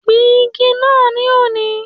Gbìn igi naa ní òní!